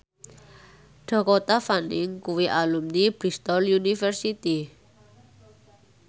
Dakota Fanning kuwi alumni Bristol university